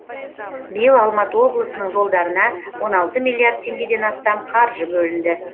биыл алматы облысының жолдарына он алты миллиард теңгеден астам қаржы бөлінді